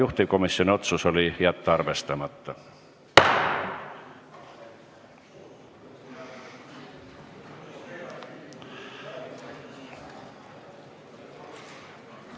Juhtivkomisjoni otsus oli jätta arvestamata.